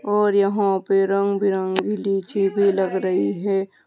और यहां पर रंग बिरंगी डी_जे भी लग रही है।